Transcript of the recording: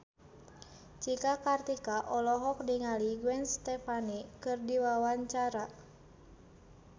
Cika Kartika olohok ningali Gwen Stefani keur diwawancara